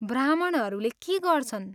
ब्राह्मणहरूले के गर्छन्?